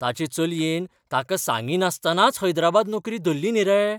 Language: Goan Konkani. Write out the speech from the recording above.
ताचे चलयेन ताका सांगिनासतनाच हैदराबाद नोकरी धल्ली न्ही रे.